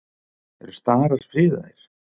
Eru starar friðaðir?